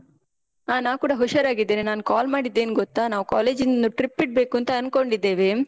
ಹಾ ನಾನ್ ಕೂಡ ಹುಷಾರಾಗಿದ್ದೇನೆ. ನಾನ್ call ಮಾಡಿದ್ದ್ ಏನ್ ಗೊತ್ತಾ, ನಾವ್ college ನಿಂದ trip ಇಡ್ಬೇಕುಂತ ಅನ್ಕೊಂಡಿದ್ದೇವೆ.